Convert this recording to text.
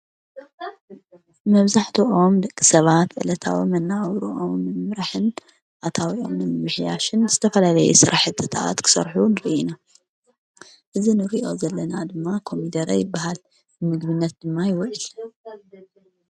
መብዛሕተኦም ደቂ ሰባት ዕለታዊ መነባብሮኦም ንምምራሕን ኣታዉኦም ንምምሕያሽን ዝተፈልለየ ስራሕትታት ክሰርሑ ንሪኢ ኢና፡፡ እዚ ንሪኦ ዘለና ድማ ኮሚደረ ይበሃል፡፡ ንምግብነት ድማ ይወዕል፡፡